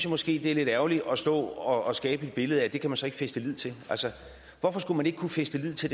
måske det er lidt ærgerligt at stå og skabe et billede af at det kan man så ikke fæste lid til hvorfor skulle man ikke kunne fæste lid til